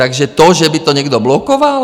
Takže to, že by to někdo blokoval?